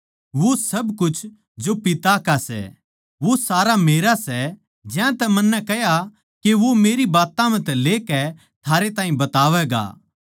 वो सब कुछ जो पिता का सै वो सारा मेरा सै ज्यांतै मन्नै कह्या के वो मेरी बात्तां म्ह तै लेकै थारै ताहीं बतावैगा